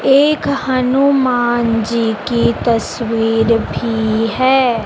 एक हनुमान जी की तस्वीर भी है।